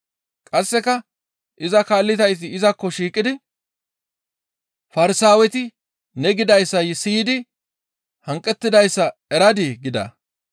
Qasse iza kaallizayti izakko shiiqidi, «Farsaaweti ne gidayssa siyidi hanqettidayssa eradii?» gida.